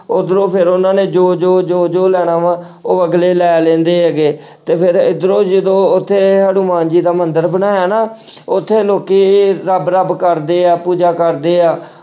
ਉੱਧਰੋਂ ਫਿਰ ਉਹਨਾਂ ਨੇ ਜੋ-ਜੋ, ਜੋ-ਜੋ ਲੈਣਾ ਵਾਂ ਉਹ ਅਗਲੇ ਲੈ ਲੈਂਦੇ ਹੈਗੇ ਤੇ ਫਿਰ ਇੱਧਰੋਂ ਜਦੋਂ ਉੱਥੇ ਹਨੂੰਮਾਨ ਜੀ ਦਾ ਮੰਦਿਰ ਬਣਾਇਆ ਨਾ ਉੱਥੇ ਲੋਕੀ ਰੱਬ ਰੱਬ ਕਰਦੇ ਆ ਪੂਜਾ ਕਰਦੇ ਆ